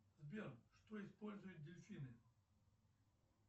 сбер что используют дельфины